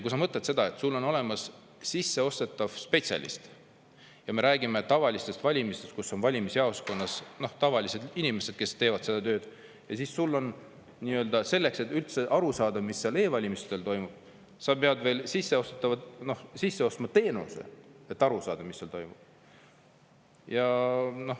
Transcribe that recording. Kui sa mõtled seda, et sul on olemas sisseostetav spetsialist – ja me räägime tavalistest valimistest, kus on valimisjaoskonnas tavalised inimesed, kes teevad seda tööd –, ja siis selleks, et üldse aru saada, mis seal e-valimistel toimub, sa pead veel sisse ostma teenuse, et aru saada, mis seal toimub.